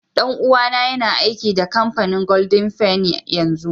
Dan uwa na yana aiki da kampanin golden fenny yanzu.